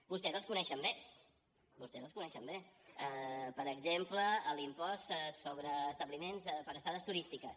vostès els coneixen bé vostès els coneixen bé per exemple l’impost sobre establiments per estades turístiques